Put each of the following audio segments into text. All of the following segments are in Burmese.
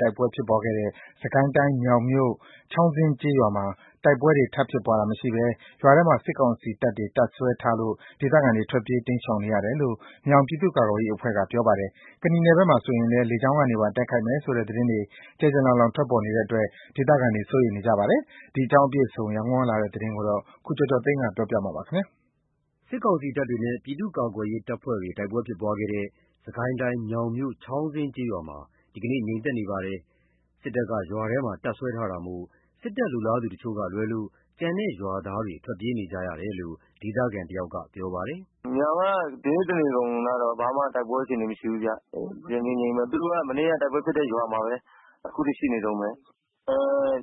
တိုက်ပွဲတွေဖြစ်ခဲ့တဲ့ စစ်ကိုင်းတိုင်း မြောင်မြို့နယ်ထဲက ကျေးရွာမှာ စစ်တပ်က ဝင်ရောက် တပ်စွဲထားတဲ့အတွက် ဒေသခံတွေ ထွက်ပြေးနေကြပါတယ်။ ကနီနယ်ဘက်မှာဆိုလည်း စစ်လေယာဉ်တွေ လာဝဲနေတာကြောင့် လေကြောင်းကနေ လာတိုက်မှာ ဒေသခံတွေ စိုးရိမ်နေကြပါတယ်။ ဒီအကြောင်းအပြည့်အစုံ ရန်ကုန်ကလာတဲ့သတင်းကို ကိုကျော်ကျော်သိန်းက ပြောပြပါမယ်။ စစ်ကောင်စီတပ်တွေနဲ့ ပြည်သူ့ကာကွယ်ရေးတပ်ဖွဲ့တွေ တိုက်ပွဲဖြစ်ပွားခဲ့တဲ့ စစ်ကိုင်းတိုင်း မြောင်မြို့ ချောင်းဇင်းကျေးရွာမှာ ဒီနေ့ ငြိမ်သက်နေပါတယ်။ စစ်တပ်က ရွာထဲမှာ တပ်စွဲထားတာမို့ စစ်တပ်လိုလားသူတချို့ကလွဲလို့ ကျန်တဲ့ရွာသားတွေ ထွက်ပြေးနေကြတယ်လို့ ဒေသခံတယောက်က ပြောကြပါတယ်။ “မြောင်ကဒီနေ့တနေကုန် ဘာမှ တိုက်ပွဲအခြေအနေမရှိဘူးခင်ဗျ။ တည်တည်ငြိမ်ငြိမ်ပဲ သူတို့က မနေ့က တိုက်ပွဲဖြစ်တဲ့ရွာမှာပဲ အခုထိရှိနေတုန်းပဲ။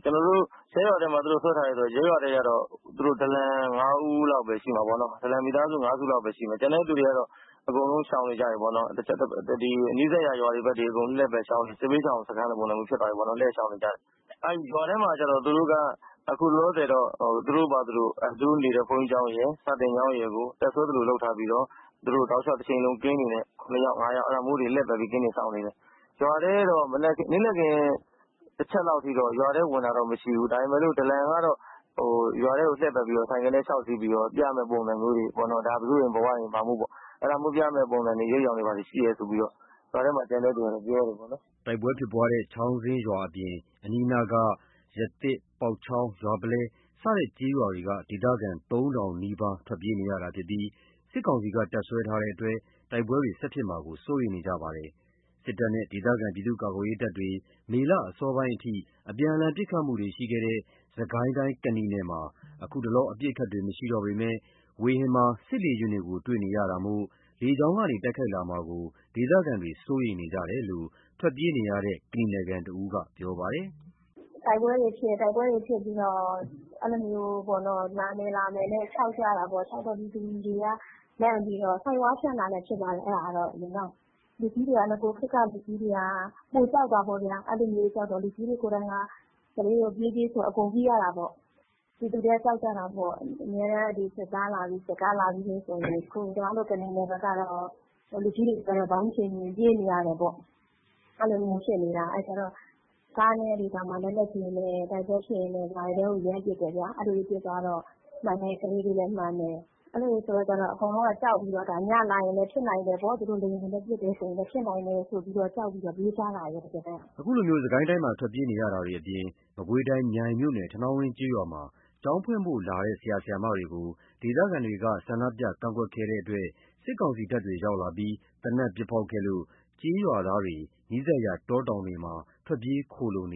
ကျနော်တို့ ရပ်ရွာထဲမှာသူတို့စွဲထားတယ်ဆိုတော့ သူတို့ ဒလန် ၅ ဦး လောက်ပဲရှိမှာပေါ့နော်။ မိသားစု ၅ စုလောက်ပဲရှိမယ်။ ကျန်တဲ့သူတွေက အကုန်လုံး ရှောင်နေကြပြီပေါ့နော်။ နီးစပ်ရာရွာတွေဘက်ကို စစ်ဘေးရှောင် စခန်းလိုပုံစံမျိုးဖြစ်သွားပြီပေါ့နော် လှည့်ရှောင်နေကြတယ်။ ရွာထဲမှာ သူတို့က အခုလောလောဆယ်တော့ သူတို့နေတဲ့ ဘုန်းကြီးကျောင်းရယ် စာသင်ကျောင်းရယ်ကို တပ်စွဲသလို လုပ်ထားပြီးတော့ သူတို့ကင်းတွေနဲ့ ၂ ယောက် ၅ ယောက် အဲ့ဒါမျိုးတွေ လှည့်ပတ်ပြီး ကင်းတွေ စောင့်နေတယ်။ ရွာထဲတော့ နေ့လည်ခင်း တချက်လောက်ထိ ဝင်တာတော့မရှိဘူး။ ဒါပေမယ့် ဒလံက ရွာထဲကို ဆိုင်ကယ်နဲ့လျှောက်စီးပြီးတော့ ဒါဘယ်သူ့အိမ် ဘယ်ဝါ့အိမ် ဒါမျိုးပေါ့ အဲ့ဒါမျိုးပြမယ့် အရိပ်အယောင်တွေ ရှိတယ်ဆိုပြီးတော့ ရွာထဲမှာ ကျန်တဲ့သူကတော့ ပြောတယ်ပေါ့နော်။" တိုက်ပွဲဖြစ်ပွားတဲ့ ချောင်းဇင်းရွာအပြင် အနီးအနားက ရသစ် ပေါက်ချောင်း ရွာပုလဲ စတဲ့ ကျေးရွာက ဒေသခံ ၃,၀၀၀ နီးပါး ထွက်ပြေးနေရတာဖြစ်ပြီး စစ်ကောင်စီက တပ်စွဲထားတဲ့အတွက် တိုက်ပွဲတွေ ဆက်ဖြစ်မှာကို စိုးရိမ်နေပါတယ်။ စစ်တပ်နဲ့ ဒေသခံပြည်သူ့ကာကွယ်ရေးတပ်တွေ မေလအစောပိုင်းအထိ အပြန်အလှန် ပစ်ခတ်မှုတွေ ရှိခဲ့တဲ့ စစ်ကိုင်းတိုင်း ကနီနယ်မှာ အခု အပစ်အခတ်တွေ မရှိတော့ပေမဲ့ ဝေဟင်မှာ စစ်လေယာဉ်တွေကို တွေ့နေရတာမို့ လေကြောင်းကနေ တိုက်ခိုက်လာမှာကို ဒေသခံတွေ စိုးရိမ်နေကြတယ်လို့ ထွက်ပြေးနေရတဲ့ ကနီနယ်ခံတဦးက အခုလိုပြောပါတယ်။ “တိုက်ပွဲတွေဖြစ်ပြီးတော့ လာမယ်လာမယ်တဲ့ ခြောက်ကြတာပေါ့။ ပြည်သူတွေကလန့်ပြီးတော့ ဆိုက်ဒ်ဝါး ဖြန့်တာလည်း ဖြစ်နိုင်တယ်။ လူကြီးတွေက နဂိုခေတ်က လူကြီးတွေက ပိုကြောက်တာပေါ့ဗျာ။ အဲ့လိုပိုကြောက်တော့ ပြေးပြေးဆိုတော့ အကုန်ပြေးရတာပေါ့။ ပြည်သူတွေက ကြောက်ကြတာပေါ့။ အမြဲတမ်း စစ်သားလာပြီ စစ်ကားလာပြီဆိုရင် လူကြီးတွေက ပြေးနေရတယ်ပေါ့။ အဲ့လိုမျိုးဖြစ်နေတာ ကားတွေနဲ့ လက်နက်ကြီးတွေနဲ့ တိုက်ပွဲဖြစ်ရင် ရွာထဲကို ရမ်းပစ်တယ်ဗျာ ပစ်တော့ မှန်တဲ့ကလေးတွေလည်း မှန်တယ်။ အဲ့လိုဆိုတော့ အကုန်လုံးက ကြောက်ပြီးတော့ ညလာရင်လည်း ဖြစ်နိုင်တယ် သူတို့လေယာဉ်တွေနဲ့ ပစ်တယ်ဆိုလည်း ဖြစ်နိုင်တယ်ဆိုပြီး ကြောက်ပြီးတော့ပြေးကြတာပေါ့။” အခုလို စစ်ကိုင်းတိုင်းမှာ ထွက်ပြေးနေရတာတွေအပြင် မကွေးတိုင်း မြိုင်မြို့နယ် ထနောင်းဝင်းကျေးရွာမှာ ကျောင်းဖွင့်လှစ်ဖို့ လာရောက်တဲ့ ဆရာ ဆရာမတွေကို ဒေသခံတွေက ဆန္ဒထုတ်ဖော်တာတွေ ပြုလုပ်ခဲ့လို့ စစ်ကောင်စီတပ်တွေရောက်လာပြီး သေနတ်ပစ်ဖောက်တာတွေ ပြုလုပ်ခဲ့လို့ ကျေးရွာသားတွေဟာလည်း နီးစပ်ရာ တောတောင်တွေမှာ ထွက်ပြေး ခိုလှုံနေ